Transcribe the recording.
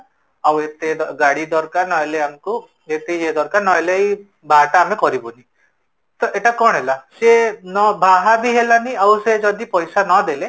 ଆଉ ଏତେ ଗାଡି ଦରକାର ନହେଲେ ଆମକୁ ଏମିତି ୟେ ଦରକାର ନହେଲେ ଏଇ ବାହାଘରଟା ଆମେ କରିବୁନି, ତ ଏଟା କଣ ହେଲା, ସେ ବାହା ବି ହେଲାଣି ଆଉ ସେ ଯଦି ପଇସା ନଦେଲେ,